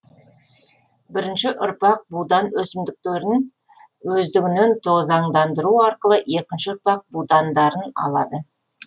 бірінші ұрпақ будан өсімдіктерін өздігінен тозаңдандыру арқылы екінші ұрпақ будандарын алады